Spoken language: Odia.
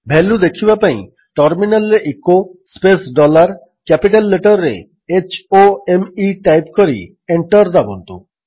ଭାଲ୍ୟୁ ଦେଖିବା ପାଇଁ ଟର୍ମିନାଲ୍ରେ echo space dollar capital letter ରେ h o m E type କରି ଏଣ୍ଟର୍ ଦାବନ୍ତୁ